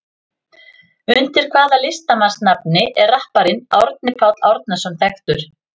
Undir hvaða listamannsnafni er rapparinn Árni Páll Árnason þekktur?